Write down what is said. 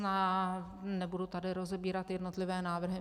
Nebudu tady rozebírat jednotlivé návrhy.